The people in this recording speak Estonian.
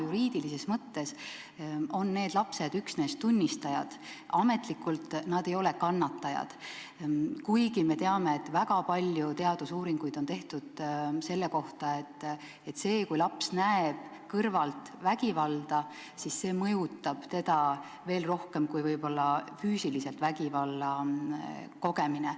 Juriidilises mõttes on need lapsed üksnes tunnistajad, ametlikult nad ei ole kannatajad, kuigi me teame, et on tehtud väga palju teadusuuringuid, mis tõestavad, et see, kui laps näeb kõrvalt vägivalda, mõjutab teda veel rohkem kui võib-olla ise füüsiliselt vägivalla kogemine.